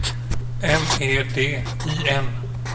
M E D I N